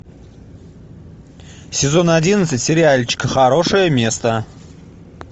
сезон одиннадцать сериальчика хорошее место